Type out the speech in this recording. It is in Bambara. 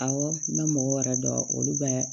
Awɔ n bɛ mɔgɔ wɛrɛ dɔn olu bɛ